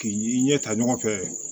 K'i ɲɛ ta ɲɔgɔn fɛ